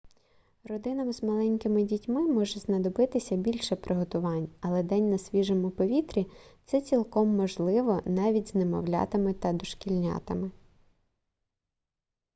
родинам з маленькими дітьми може знадобитися більше приготувань але день на свіжому повітрі це цілком можливо навіть з немовлятами та дошкільнятами